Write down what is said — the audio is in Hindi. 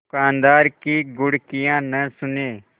दुकानदार की घुड़कियाँ न सुने